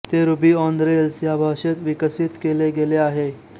ते Ruby on Rails या भाषेत विकसित केले गेले आहे